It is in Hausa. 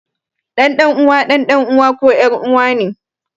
Ɗan ɗan uwa ɗan ɗan uwa ko ƴar uwa ne